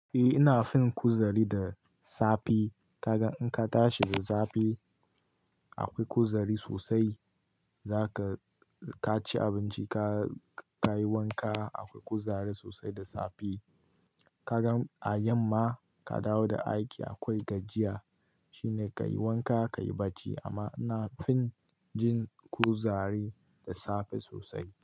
Eh, ina fin kuzari da safe. Kaga in ka tashi da safe akwai kuzari sosai. Zaka, ka ci abinci ka, ka yi wanka akwai kuzari sosai da safe. Kaga a yamma ka dawo da aiki akwai gajiya shine ka yi wanka, ka yi barci, amma ina fin jin kuzari da safe sosai.